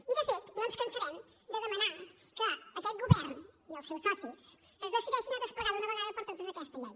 i de fet no ens cansarem de demanar que aquest govern i els seus socis es decideixin a desplegar d’una vegada per totes aquesta llei